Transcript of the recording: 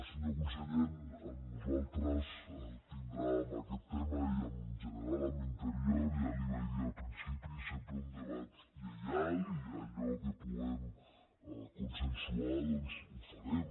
senyor conseller en nosaltres tindrà en aquest tema i en general amb interior ja li ho vaig dir al principi sempre un debat lleial i allò que puguem consensuar doncs ho farem